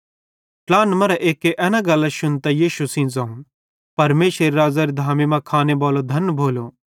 ट्लाहनन् मरां एक्के एन गल्लां शुन्तां यीशु सेइं ज़ोवं परमेशरेरे राज़्ज़ेरी धामी मां खाने बालो धन भोलो